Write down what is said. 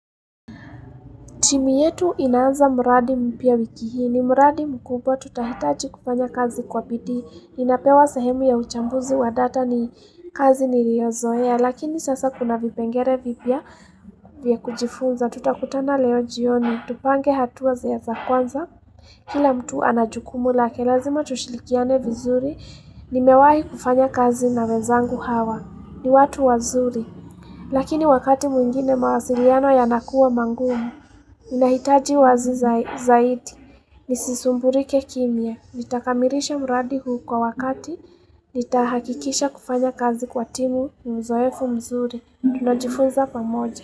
Timu yetu inaanza mradi mpya wiki hii. Ni mradi mkubwa tutahitaji kufanya kazi kwa bidii. Ninapewa sahemu ya uchambuzi wa data ni kazi niliozoea. Lakini sasa kuna vipengere vipya vya kujifunza. Tutakutana leo jioni. Tupange hatua zile za kwanza. Kila mtu ana jukumu lake lazima tushilikiane vizuri. Nimewahi kufanya kazi na wezangu hawa. Ni watu wazuri. Lakini wakati mwingine mawasiliano yanakuwa mangumu. Ninahitaji wazi zaidi. Nisisumburike kimya. Nitakamirisha mradi huu kwa wakati. Nitahakikisha kufanya kazi kwa timu. Uzoefu mzuri. Tunajifunza pamoja.